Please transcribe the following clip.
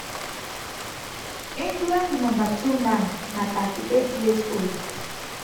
england number two man na 38 years old.